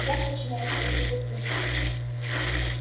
я подчиняюсь только господину